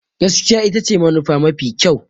Gaskiya ita ce manufa mafi kyau.